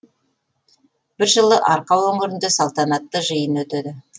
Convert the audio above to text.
бір жылы арқа өңірінде салтанатты жиын өтеді